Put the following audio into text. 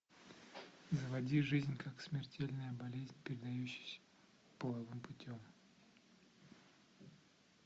заводи жизнь как смертельная болезнь передающаяся половым путем